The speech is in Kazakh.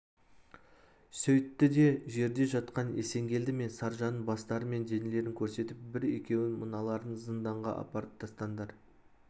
сөйтті де жерде жатқан есенгелді мен саржанның бастары мен денелерін көрсетіп бір-екеуің мыналарын зынданға апарып тастаңдар